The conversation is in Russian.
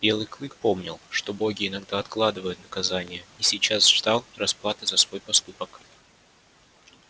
белый клык помнил что боги иногда откладывают наказание и сейчас ждал расплаты за свой поступок